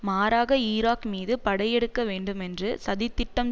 மாறாக ஈராக் மீது படையெடுக்க வேண்டுமென்று சதி திட்டம்